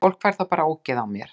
Fólk fær þá bara ógeð á mér.